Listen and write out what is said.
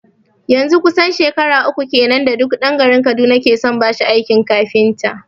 Yanzun kusan shekara uku kenan da duk dan garin kaduna ke son bashi aikin kafinta